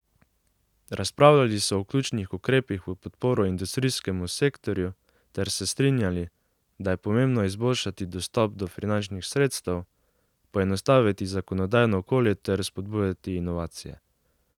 Razpravljali so o ključnih ukrepih v podporo industrijskemu sektorju ter se strinjali, da je pomembno izboljšati dostop do finančnih sredstev, poenostaviti zakonodajno okolje ter spodbujati inovacije.